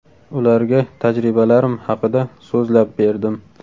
Ularga tajribalarim haqida so‘zlab berdim.